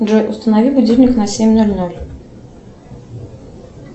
джой установи будильник на семь ноль ноль